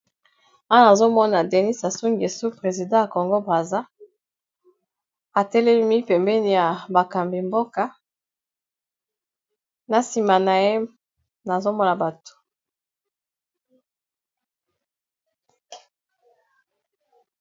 Awa nazomona denis asungesu president ya congo brasa atelemi pembeni ya bakambi mboka na nsima na ye nazomona bato